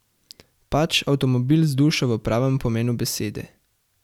Pač avtomobil z dušo v pravem pomenu besede.